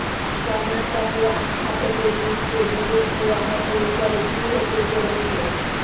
কর্ণাটকে আস্থা ভোটে জিততে বিজেপির রণকৌশল কী হতে চলেছে